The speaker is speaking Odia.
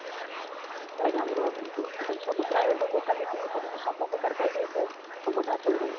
ତାପରେ ଆମର ସବୁ ପ୍ରାୟ locality police ସବୁପ୍ରକାର କହିଦେଇଥିବେ ସମସ୍ତେ ଆସନ୍ତି